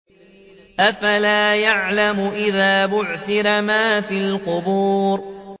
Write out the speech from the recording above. ۞ أَفَلَا يَعْلَمُ إِذَا بُعْثِرَ مَا فِي الْقُبُورِ